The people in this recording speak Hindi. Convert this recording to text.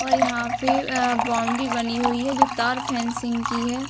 और यहाँ पे अ बाउंड्री बनी हुई है जो तार फँसिंग की है।